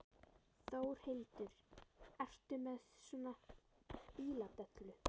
Þórhildur: Ertu með svona bíladellu?